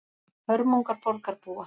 Hörmungar borgarbúa